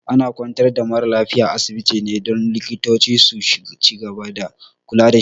Ana kwantar da mara lafiya a asibiti ne don likitoci su cigaba da kula dashi